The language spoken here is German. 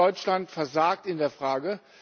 Aber Deutschland versagt in dieser Frage.